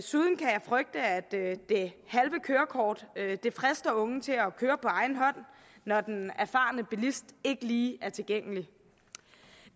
det halve kørekort frister unge til at køre på egen hånd når den erfarne bilist ikke lige er tilgængelig